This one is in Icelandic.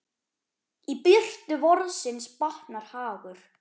Í birtu vorsins batnar hagur.